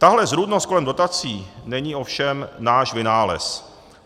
Tahle zrůdnost kolem dotací není ovšem náš vynález.